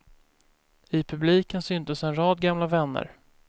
I publiken syntes en rad gamla vänner.